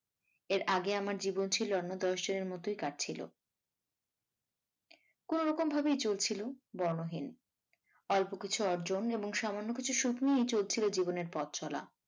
এর আগে আমার জীবন ছিল অন্য দশ জনের মতই কাটছিল কোনো রকম ভাবেই চলছিল বর্ণহীন অল্প কিছু অর্জন এবং সামান্য কিছু সুখ নিয়েই চিলছিল জীবনের পথ চলা